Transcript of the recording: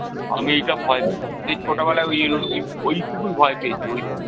আমি এটা ভয় পেতাম। সেই ছোট বেলায় ওই ওইটুকুই ভয় পেয়েছি ওইটুকু